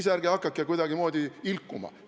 Ja ärge siis hakake kuidagimoodi ilkuma!